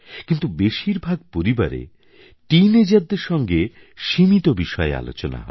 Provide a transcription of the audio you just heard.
কিন্তু বেশির ভাগ পরিবারে teenagerদের সঙ্গে সীমিত বিষয়ে আলোচনা হয়